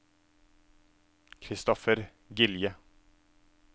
Christopher Gilje